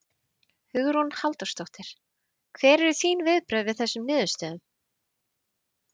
Hugrún Halldórsdóttir: Hver eru þín viðbrögð við þessum niðurstöðum?